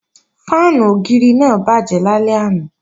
Fáànù ògiri náà bàjẹ́ lálẹ́ àná